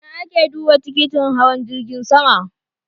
Ina a ke duba tikitin hawan jirgin sama?